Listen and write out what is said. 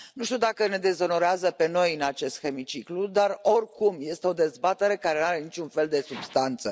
Nu știu dacă ne dezonorează pe noi în acest hemiciclu, dar oricum este o dezbatere care nu are niciun fel de substanță.